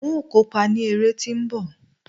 n o kópa ni ere ti nbọ